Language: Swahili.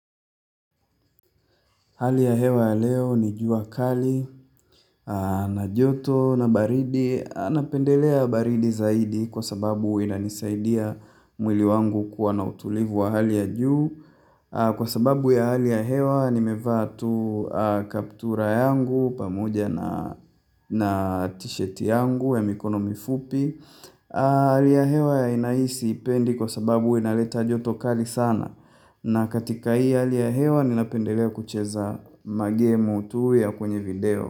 Hali ya hewa ya leo ni jua kali, an na joto, na baridi, napendelea baridi zaidi kwa sababu inanisaidia mwili wangu kuwa na utulivu wa hali ya juu. Kwa sababu ya hali ya hewa nimevaa tu, kaptura yangu pamoja na t-shirt yangu ya mikono mifupi Hali ya hewa ya ina hii siipendi kwa sababu inaleta joto kali sana na katika hii hali ya hewa, ninapendelea kucheza ma game tu ya kwenye video.